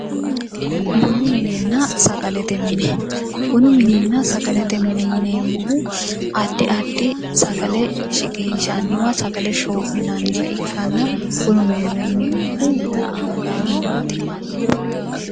Bunu minenna sagalete mine yineemmohu adi adi sagale shiqinshshanniwanna bunu mine buna anganni waati